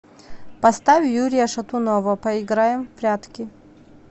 поставь юрия шатунова поиграем в прятки